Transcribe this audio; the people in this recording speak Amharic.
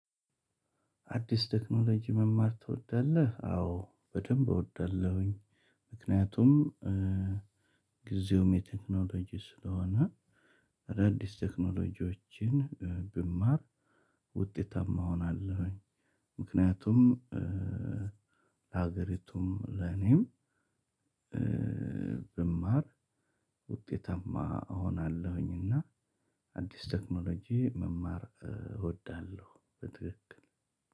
አዲስ ቴክኖሎጂ መማር ትወዳለህ? አዎ በደንብ እወዳለሁኝ። ምክንያቱም ጊዜውም የቴክኖሎጅ ስለሆነ አዳዲስ ቴክኖሎጅዎችን ብማር ውጤታማ እሆናለሁኝ። ምክንያቱም ለሀገሪቱም ለኔም ብማር ውጤታማ እሆናለሁኝ። እና አዲስ ቴክኖሎጅ መማር እወዳለሁ። በትክክል